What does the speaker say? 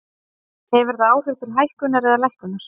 Hefur það áhrif til hækkunar eða lækkunar?